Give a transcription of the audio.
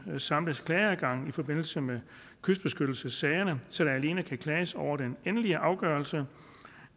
samles klageadgang i forbindelse med kystbeskyttelsessagerne så der alene kan klages over den endelige afgørelse